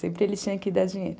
Sempre ele tinha que dar dinheiro.